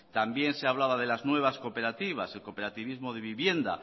también se hablaba de las nuevas cooperativas el cooperativismo de vivienda